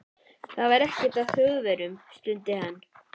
Það er ekkert að Þjóðverjum stundi hann.